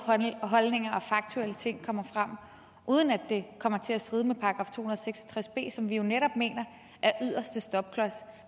holdninger og faktuelle ting kommer frem uden at det kommer til at stride mod § to og seks og tres b som vi jo netop mener er yderste stopklods